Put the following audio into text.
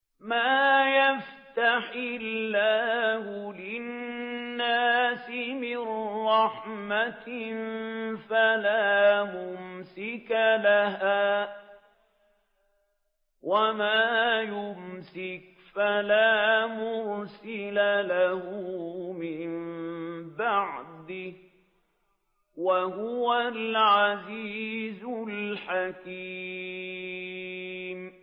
مَّا يَفْتَحِ اللَّهُ لِلنَّاسِ مِن رَّحْمَةٍ فَلَا مُمْسِكَ لَهَا ۖ وَمَا يُمْسِكْ فَلَا مُرْسِلَ لَهُ مِن بَعْدِهِ ۚ وَهُوَ الْعَزِيزُ الْحَكِيمُ